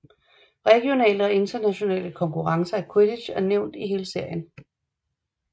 Regionale og internationale konkurrencer i Quidditch er nævnt i hele serien